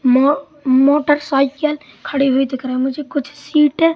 म मोटरसाइकिल खड़ी हुई दिख रा है मुझे कुछ सीटे --